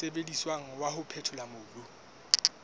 sebediswang wa ho phethola mobu